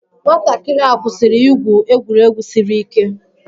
Nwatakịrị a kwụsịrị igwu egwuregwu siri ike